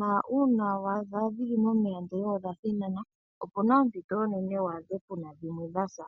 na uuna wa adha dhi li momeya ndele odha thinana opu na ompito onene wa adhe pu na dhimwe dha sa.